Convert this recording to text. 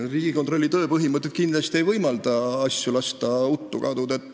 Riigikontrolli tööpõhimõtted kindlasti ei võimalda lasta asju uttu kaduda.